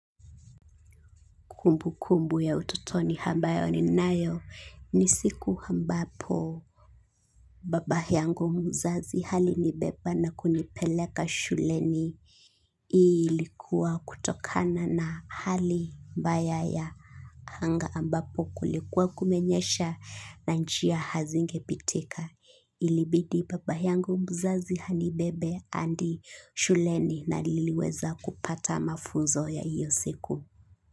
Kumbukumbu ya utotoni ambayo ninayo ni siku ambapo baba yangu mzazi halinibeba na kunipeleka shuleni. Ilikuwa kutokana na hali mbaya ya hanga ambapo kulikuwa kumenyesha na njia hazingepitika. Ilibidi baba yangu mzazi hanibebe hadi shuleni na niliweza kupata mafunzo ya hiyo siku.